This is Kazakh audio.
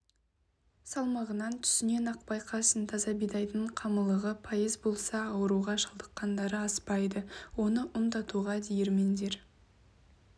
салмағынан түсінен-ақ байқайсың таза бидайдың қамырлылығы пайыз болса ауруға шалдыққандары аспайды оны ұн тартуға диірмендер